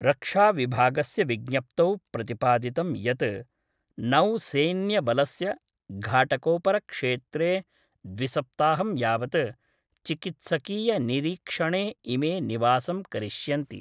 रक्षाविभागस्य विज्ञप्तौ प्रतिपादितं यत् नौसेन्यबलस्य घाटकोपरक्षेत्रे द्विसप्ताहं यावत् चिकित्सकीय निरीक्षणे इमे निवासं करिष्यन्ति।